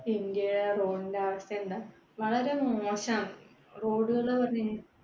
India യിലെ road ന്‍ടെ അവസ്ഥ എന്താ, വളരെ മോശാണ്. road കള് പറഞ്ഞ്‌ കഴിഞ്ഞാ